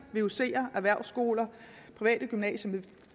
vucer erhvervsskoler private gymnasier